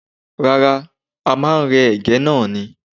Rárá, a máa rẹ́ Ẹ̀gẹ́ náà ni.